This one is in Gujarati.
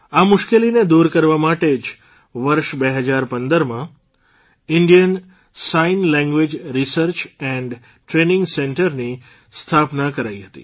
આ મુશ્કેલીને દૂર કરવા માટે જ વર્ષ ૨૦૧૫માં Indian sign language research and training centre ની સ્થાપના કરાઇ હતી